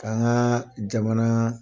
k'an ka jamana